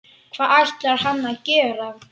Hvað ætlar hann að gera?